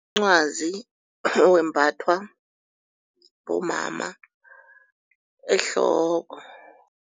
Umncwazi wembathwa bomama ehloko.